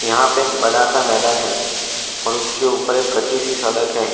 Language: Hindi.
यह पे एक बड़ा सा मैदान है और उसके ऊपर एक कच्ची सी सड़क है।